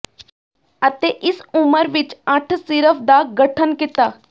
ਅਤੇ ਇਸ ਉਮਰ ਵਿਚ ਅੱਠ ਸਿਰਫ ਦਾ ਗਠਨ ਕੀਤਾ